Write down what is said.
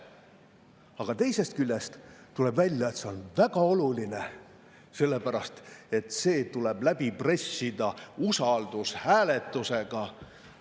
" Aga teisest küljest tuleb välja, et see on väga oluline, sest see tuleb läbi pressida usaldushääletusega.